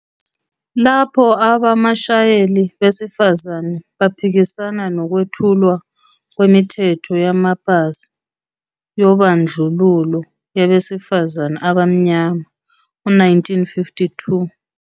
Lapho abamashayeli besifazane bephikisana nokwethulwa kwemithetho yamapasi yobandlululo yabesifazane abamnyama ngo-1952.